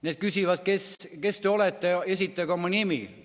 Need küsivad: kes te olete, esitage oma nimi!